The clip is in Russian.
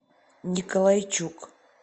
николайчук